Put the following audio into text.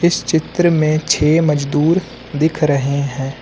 इस चित्र में छे मजदूर दिख रहे हैं।